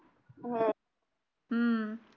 हम्म